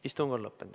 Istung on lõppenud.